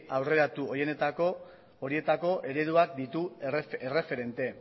aurreratu horietako ereduak ditu erreferente